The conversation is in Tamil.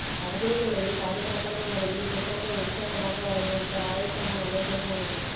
அதே வேளையில் பாதுகாப்பான முறையில் புத்தாண்டை உற்சாகமாக வரவேற்க ஆயத்தமானாலே போதுமானது